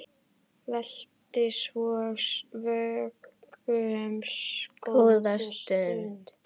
Velti svo vöngum góða stund.